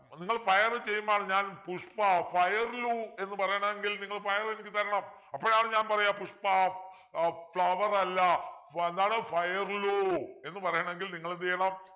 നിങ്ങൾ fire ചെയ്യുമ്പോളാണ് ഞാൻ പുഷ്പ fire ലു എന്ന് പറയണെങ്കിൽ നിങ്ങൾ fire എനിക്ക് തരണം അപ്പോഴാണ് ഞാൻ പറയുക പുഷ്പ ഏർ flower അല്ല ഫ എന്താണ് fire ലു എന്ന് പറയണെങ്കിൽ നിങ്ങൾ എന്ത് ചെയ്യണം